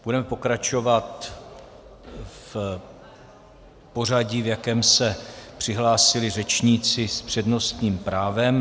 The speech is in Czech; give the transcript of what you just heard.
Budeme pokračovat v pořadí, v jakém se přihlásili řečníci s přednostním právem.